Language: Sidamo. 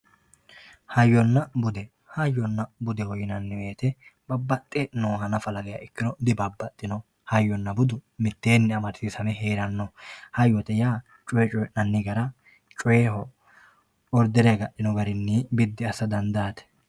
hayyonna bude hayyonna budeho yinanni wote babbaxe nooha nafa ikkirono dibabaxinoho budu mitteenni amadisiisame heerannoho hayyote yaa coyee coyiinanni gara coyeeho ordere agadhino garinni biddi assa dandaate.